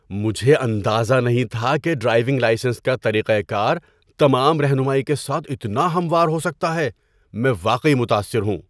مجھے اندازہ نہیں تھا کہ ڈرائیونگ لائسنس کا طریقہ کار تمام رہنمائی کے ساتھ اتنا ہموار ہو سکتا ہے۔ میں واقعی متاثر ہوں!